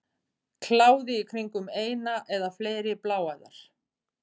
Kláði í kringum eina eða fleiri bláæðar.